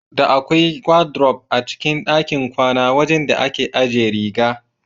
Da akwai wadiruf a cikin ɗakin kwana wajan da ake ajiye riga.